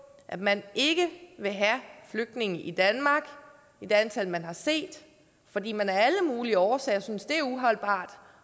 at man ikke vil have flygtninge i danmark i det antal man har set fordi man af alle mulige årsager synes det er uholdbart